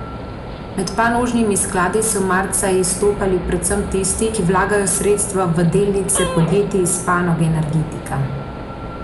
Med panožnimi skladi so marca izstopali predvsem tisti, ki vlagajo sredstva v delnice podjetij iz panoge energetika.